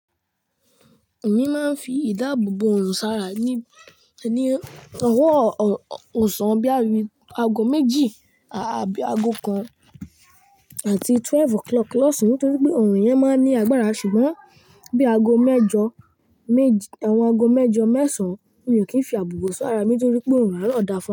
Èmi máa ń fi ìdáàbò bò òrùn sára ní, ní owọ́ ọsàn bí i àgó méjì àbí àgó kan àti twelve o'clock lọ́sàn án nítorí pé òrùn yẹn máa ń ní agbára. Ṣùgbọ́n bí àgó mẹ́jọ, àwọn àgó mẹ́jọ mẹ́sàn án, mi ò kì í fi àbùbò sí ara mi nítorí pé òrùn àâro dá fún ọ.